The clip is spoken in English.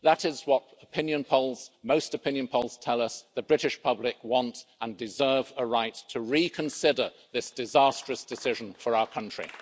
That is what opinion polls most opinion polls tell us, the British public want and deserve a right to reconsider this disastrous decision for our country.